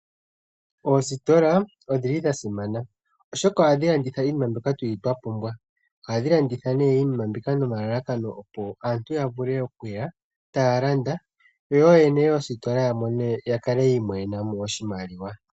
Oositola odhi li dha simana, oshoka ohadhi landitha iinima mbyoka tu li twa pumbwa. Ohadhi landitha nee iinima mbika nomalalakano opo aantu ya vule okuya taa landa, yo ooyene yomositola ya kale yi imonena mo oshimaliwa.